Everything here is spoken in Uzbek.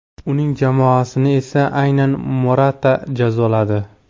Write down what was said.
Uning jamoasini esa aynan Morata jazoladi.